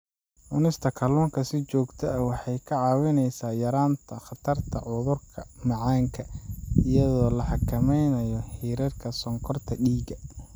Cunista kalluunka si joogto ah waxay kaa caawinaysaa yaraynta khatarta cudurka macaanka iyadoo la xakameynayo heerarka sonkorta dhiigga.